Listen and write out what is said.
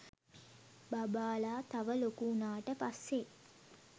බබාලා තව ලොකු උනාට පස්සේ